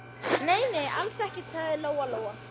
Nei, nei, alls ekkert, sagði Lóa-Lóa.